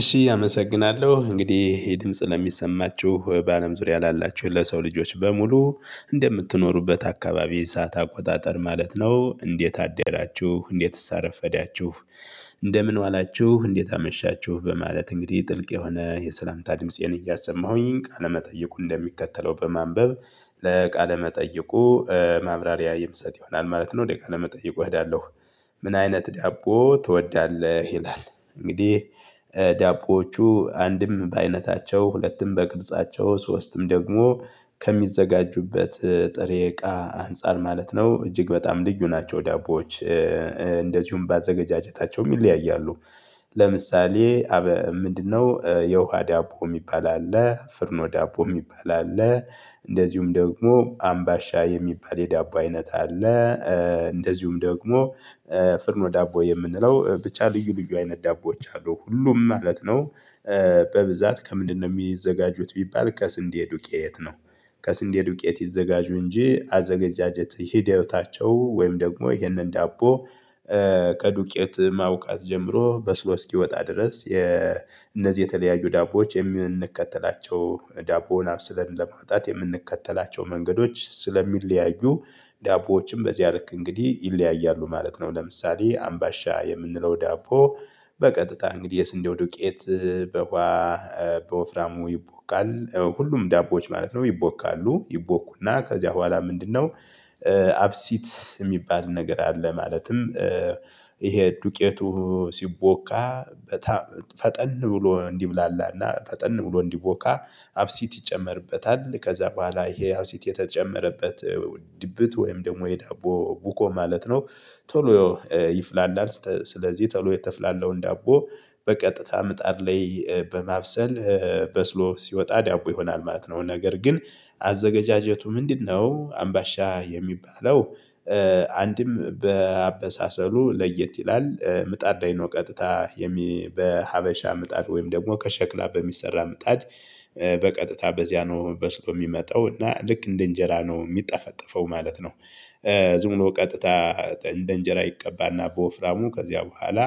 እሺ አመሰግናለሁ እንግዲህ ይህ ድምጽ ለሚሰማችሁ በአለም ዙሪያ ላላችሁ ለሰው ልጆች በሙሉ እንደምትኖሩበት አካባቢ ሰዓት አቆጣጠር ማለት ነው። እንዴት አደራችሁ እንዴትስ አረፈዳችሁ? እንደምን ዋላችሁ እንዴት አመሻችሁ? በማለት እንግዲህ ጥልቅ የሆነ የሰላምታ ድምፄን እያሰማሁኝ ቃለመጠይቁ እንደሚከተለው በማንበብ ለቃለመጠይቁ ማብራሪያ የምሰጥ ይሆናል። ማለት ነው ወደ ቃለ መጠየቅ እወዳለሁ። ምን አይነት ዳቦ ትወዳለህ ይላል? እንግዲህ ዳቦዎቹ አንድም በአይነታቸው ሁለትም በቅርጻቸው ሶስትም ደግሞ ከሚዘጋጁበት ጥሬ እቃ አንፃር ማለት ነው እጅግ በጣም ልዩ ናቸው። ዳቦዎች እንደዚሁም ባዘገጃጀታቸውም ይለያያሉ። ለምሳሌ ምንድነው? የውሃ ዳቦ የሚባል አለ ፍርኖ ዳቦ የሚባል አለ። እንደዚሁም ደግሞ አምባሻ የሚባል የዳቦ አይነት አለ። እንደዚሁም ደግሞ ፍርኖ ዳቦ የምንለው ብቻ ልዩ ልዩ አይነት ዳቦዎች አሉ ሁሉም ማለት ነው። በብዛት ከምንድነው የሚዘጋጁት ቢባል ከስንዴ ዱቄት ነው። ከስንዴ ዱቄት ይዘጋጁ እንጂ አዘጋጃጀት ሂደታቸው ወይም ደግሞ ይሄንን ዳቦ። ከዱቄት ማውቡካት ጀምሮ በስሎ እስኪወጣ ድረስ የነዚህ የተለያዩ ዳቦዎች የምንከተላቸው ዳቦውን አብሰለን ለማጣት የምንከተላቸው መንገዶች ስለሚለያዩ ዳቦዎችም በዚያ ልክ እንግዲህ ይለያያሉ ማለት ነው። ለምሳሌ አምባሻ የምንለው ዳቦ በቀጥታ እንግዲህ የስንዴው ዱቄት በዉሃ በወፍራሙ ይቦካል። ሁሉም ዳቦዎች ማለት ነው ይቦካሉ ይቦኩና ከዚያ በኋላ ምንድነው? አብሲት የሚባል ነገር አለ። ማለትም ይሄ ዱቄቱ ሲቦካ ፈጠን ብሎ እንዲብላላና ፈጠን ብሎ እንዲቦካ አብሲት ይጨመርበታል ከዛ በኋላ ይሄ አብሲት የተጨመረበት ድብት ወይም ደግሞ የዳቦ ቡኮ ማለት ነው። ቶሎ ይፍላላል ስለዚህ ቶሎ የተፍላላውን ዳቦ በቀጥታ ምጣድ ላይ በማብሰል በስሎ ሲወጣ ዲቦ ይሆናል ማለት ነው። ነገር ግን አዘገጃጀቱ ምንድነው? አምባሻ የሚባለው? አንድም በአበሳሰሉ ለየት ይላል ምጣዳይኖ ዳይኖ ቀጥታ በሀበሻ ምጣድ ወይም ደግሞ ከሸክላ በሚሰራ ምጣድ በቀጥታ በዚያ ነው በስሎ የሚመጣው እና ልክ እንደ እንጀራ ነው የሚጠፈጠፈው ማለት ነው። ዝም ብሎ ቀጥታ እንደ እንጀራ ይቀባና በወፍራሙ ከዚያ በኋላ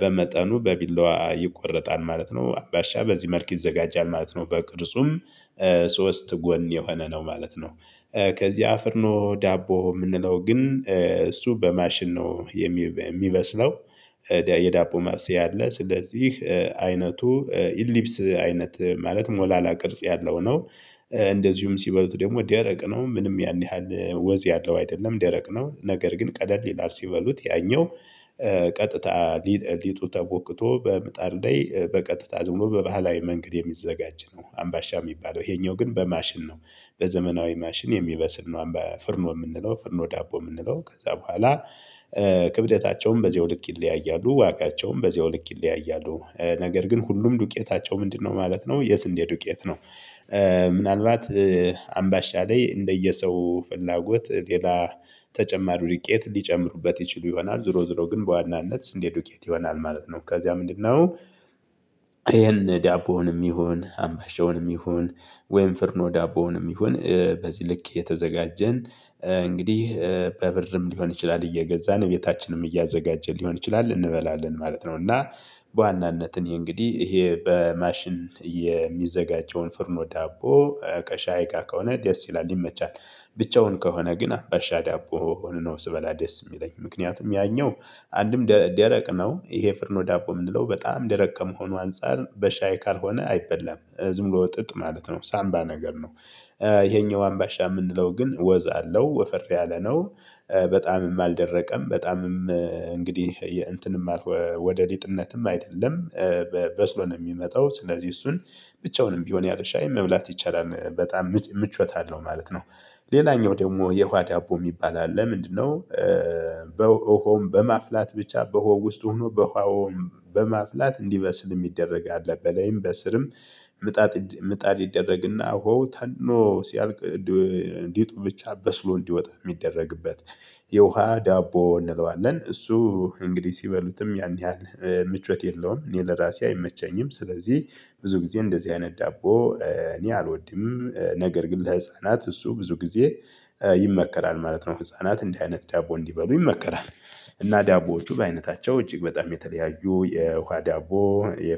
በመጠኑ በቢላዋ ይቆረጣል ማለት ነው። አምባሻ በዚህ መልክ ይዘጋጃል ማለት ነው። በቅርጹም ሶስት ጎን የሆነ ነው ማለት ነው። ከዚ አፍርኖ ዳቦ የምንለው ግን እሱ በማሽን ነው የሚበስለው የዳቦ ማብሰአ አለ ስለዚህ አይነቱ ኢሊፕስ አይነት ማለት ሞላላ ቅርጽ ያለው ነው። እንደዚሁም ሲበሉት ደግሞ ደረቅ ነው ምንም ያን ያህል ወዝ ያለው አይደለም ደረቅ ነው። ነገር ግን ቀለል ይላል ሲበሉት ያኛው ቀጥታ ሊጡ ተወቦክቶ በምጣድ ላይ በቀጥታ ዝም ብሎ በባህላዊ መንገድ የሚዘጋጅ ነው። አምባሻ የሚባለው ይሄኛው ግን በማሽን ነው በዘመናዊ ማሽን የሚበስል ነው። አምባ ፍርኖ የምንለው ፍርኖ ዳቦ የምንለው ከዛ በኋላ ክብደታቸውም በዚያው ልክ ይለያያሉ። ዋጋቸውም በዚያው ይለያያሉ ነገር ግን ሁሉም ዱቄታቸው ምንድነው ማለት ነው የስንዴ ዱቄት ነው። ምናልባት አምባሻ ላይ እንደየሰው ፍላጎት ሌላ ተጨማሪው ዱቄት ሊጨምሩበት ይችሉ ይሆናል ዙሮ ዙሮ ግን በዋናነት ስንዴ ዱቄት ይሆናል ማለት ነው። ከዚያ ምንድነው? ይሄን ዳቦውንም ይሁን አምባሻውንም ይሁን ወይም ፍርኖ ዳቦውንም ይሁን በዚህ ልክ የተዘጋጀን እንግዲህ በብርም ሊሆን ይችላል እየገዛን ቤታችንም እያዘጋጀን ሊሆን ይችላል እንበላለን ማለት ነው። እና በዋናነት እኔ እንግዲህ ይሄ በማሽን የሚዘጋጀውን ፍርኖ ዳቦ ከሻይ ጋ ከሆነ ደስ ይላል ይመቻል። ብቻውን ከሆነ ግን አምባሻ ዳቦ ሆኖ ነው ስበላ ደስ የሚለኝ ምክንያቱም ያኛው አንድም ደረቅ ነው። ይሄ ፍርኖ ዳቦ የምንለው በጣም ደረቅ ከመሆኑ አንፃር በሻይ ካልሆነ አይበላም ዝም ብሎ ጥጥ ማለት ነው ሳምባ ነገር ነው። ይሄኛው አምባሻ የምንለው ግን ወዛ አለው ወፈር ያለ ነው። በጣምም አልደረቀም በጣምም እንግዲህ የእንትንም አልሆነ ወደ ሊጥነትም አይደለም። በስሎ ነው የሚመጣው ስለዚህ እሱን ብቻውንም ቢሆን ያለ ሻይ መብላት ይቻላል በጣም ምቾት አለው ማለት ነው። ሌላኛው ደግሞ የዉሃ ዳቦ የሚባል አለ ምንድነው? በሆም በማፍላት ብቻ በሆው ውስጥ ሆኖ በኋአውም በማፍላት እንዲበስል የሚደረግ አለ በለይም በስርም ምጣጥ ምጣድ ይደረግና ሆው ተኖ ሲያልቅ እንዲጡ ብቻ በስሎ እንዲወጣ የሚደረግበት። የውሃ ዳቦ እንለዋለን እሱ እንግዲህ ሲበሉትም ያን ያህል ምቾት የለውም እኔ ለራሴ አይመቸኝም። ስለዚህ ብዙ ጊዜ እንደዚህ አይነት ዳቦ እኔ አልወድም ነገር ግን ለህፃናት እሱ ብዙ ጊዜ ይመከራል ማለት ነው። ህፃናት እንደዚህ አይነት ዳቦ እንዲበሉ ይመከራል። እና ዳቦዎቹ በአይነታቸው እጅግ በጣም የተለያዩ የውሃ ዳቦ የ